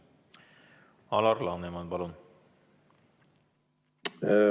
Alar Laneman, palun!